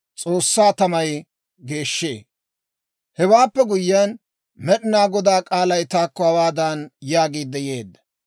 Hewaappe guyyiyaan, Med'inaa Godaa k'aalay taakko hawaadan yaagiidde yeedda;